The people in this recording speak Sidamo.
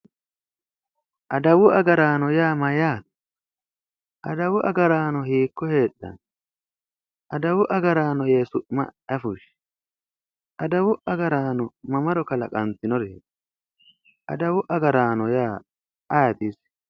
adawu agaraano yaa mayyaate adawu agaraano hiikko heedhanno? adawu agaraano yee su'ma ayi fushshi? adawu agaraano mamaro kalaqantinoreeti? adawu agaraano ya ayeeti isi?